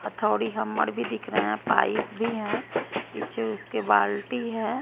हथौड़ी हममड़ भी दिख रहे हैं पाइप भी है पीछे उसके बाल्टी है।